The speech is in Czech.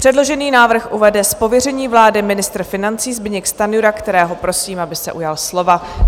Předložený návrh uvede z pověření vlády ministr financí Zbyněk Stanjura, kterého prosím, aby se ujal slova.